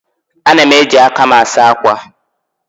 Ana m eji aka m asa akwa.